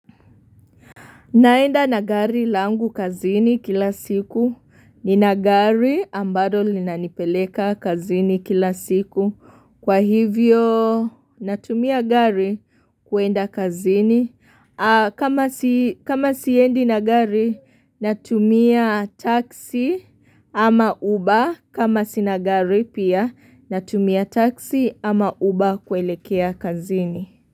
Naenda na gari langu kazini kila siku nina gari ambalo lina nipeleka kazini kila siku kwa hivyo natumia gari kuenda kazini. Kama siendi na gari natumia taxi ama uber kama sina gari pia natumia taxi ama uber kuelekea kazini.